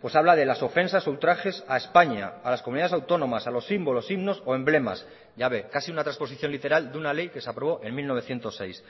pues habla de las ofensas ultrajes a españa a las comunidades autónomas a los símbolos signos o emblemas ya ve casi una transposición literal de una ley que se aprobó en mil novecientos seis